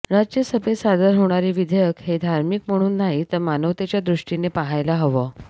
राज्यसभेत सादर होणारे विधेयक हे धार्मिक म्हणून नाही तर मानवतेच्या दृष्टीने पाहायला हवं